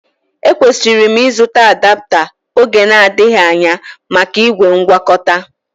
E kwesịrị m ịzụta adapta oge na-adịghị anya maka ígwè ngwakọtaa